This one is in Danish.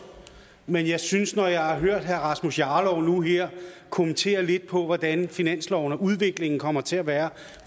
men jeg synes at når jeg hører herre rasmus jarlov nu her kommentere lidt på hvordan finansloven og udviklingen kommer til at være